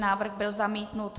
Návrh byl zamítnut.